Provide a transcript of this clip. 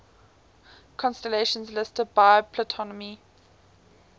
constellations listed by ptolemy